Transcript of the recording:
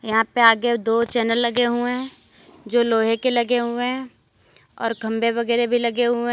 यहां पे आगे दो चैनल लगे हुए हैं जो लोहे के लगे हुए हैं और खंबें वगैरे भी लगे हुए --